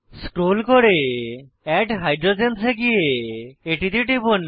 scroll করে add hydrogens এ গিয়ে এটিতে টিপুন